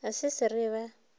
a se se re ba